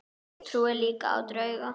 Ég trúi líka á drauga.